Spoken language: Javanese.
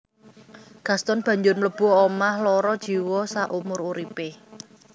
Gaston banjur mlebu omah lara jiwa saumur uripé